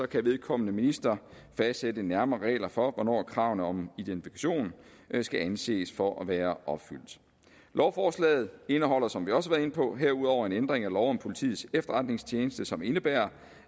kan vedkommende minister fastsætte nærmere regler for hvornår kravene om identifikation skal anses for at være opfyldt lovforslaget indeholder som vi også inde på herudover en ændring af lov om politiets efterretningstjeneste som indebærer